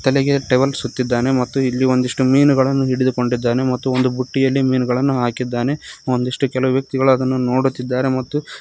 ತಲೆಗೆ ಟವೆಲ್ ಸುತ್ತಿದ್ದಾನೆ ಮತ್ತು ಇಲ್ಲಿ ಒಂದಿಷ್ಟು ಮೀನುಗಳನ್ನು ಹಿಡಿದುಕೊಂಡಿದ್ದಾನೆ ಮತ್ತು ಒಂದು ಬುಟ್ಟಿಯಲ್ಲಿ ಮೀನುಗಳನ್ನು ಹಾಕಿದ್ದಾನೆ ಒಂದಿಷ್ಟು ಕೆಲ ವ್ಯಕ್ತಿಗಳು ಅದನ್ನು ನೋಡುತ್ತಿದ್ದಾರೆ ಮತ್ತು--